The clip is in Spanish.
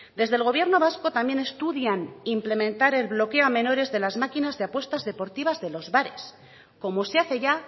desde el gobierno vasco también estudian implementar el bloqueo a menores de las máquinas de apuestas deportivas de los bares como se hace ya